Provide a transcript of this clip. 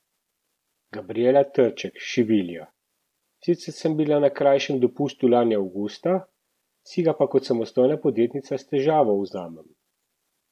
Gabrijela Trček, šivilja: "Sicer sem bila na krajšem dopustu lani avgusta, si ga pa kot samostojna podjetnica s težavo vzamem.